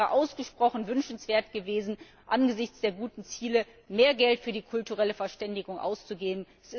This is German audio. Es wäre ausgesprochen wünschenswert gewesen, angesichts der guten Ziele mehr Geld für die kulturelle Verständigung auszugeben.